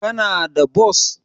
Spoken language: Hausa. Kana da bos?